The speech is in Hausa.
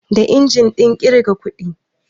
Da injin ɗin ƙirga kuɗi